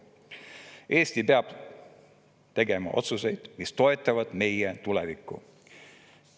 Eesti peab tegema otsuseid, mis toetavad meie tulevikku.